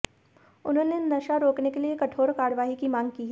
उन्होंने नशा रोकने के लिए कठोर कार्यवाही की मांग की है